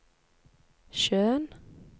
sjøen